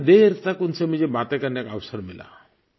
काफ़ी देर तक उनसे मुझे बातें करने का अवसर मिला